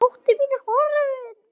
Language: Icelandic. Dóttir mín er horfin.